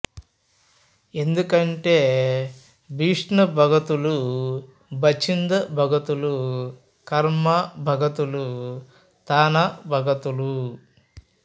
ఎందుకంటే బిష్ణు భగతులు బచింద భగతులు కర్మ భగతులు తానా భగతులు